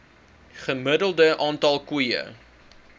gemiddelde aantal koeie